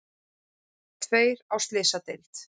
Tveir á slysadeild